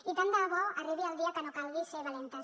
i tant de bo arribi el dia que no calgui ser valentes